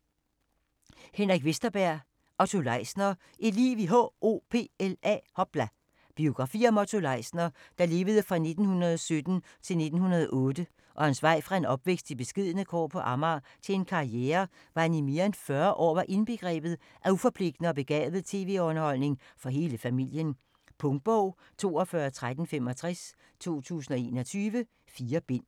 Vesterberg, Henrik: Otto Leisner: et liv i H.O.P.L.A. Biografi om Otto Leisner (1917-2008) og hans vej fra en opvækst i beskedne kår på Amager til en karriere hvor han i mere 40 år var indbegrebet af uforpligtende og begavet tv-underholdning for hele familien. Punktbog 421365 2021. 4 bind.